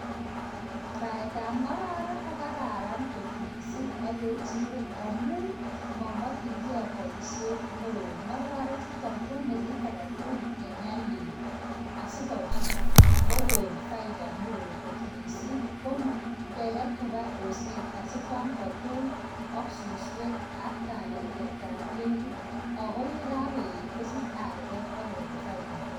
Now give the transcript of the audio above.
Baet ab ngororek ko kararan kot missing ak kechirek amuu mamachin kee paishet neoo ngororek chutok kwamee kit aketugul nee nyalil asikopit kokon faida neoo kot missing kee ket kopa osnet asikwam katok ak suswek ak balaliat ab ketit akoyakakoetkosich arwet akokon faida neoo